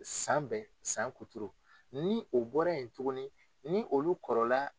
San bɛɛ , san kuturu ni o bɔra yen tuguni ni olu kɔrɔla